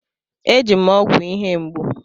E ji m ọgwụ ihe mgbu.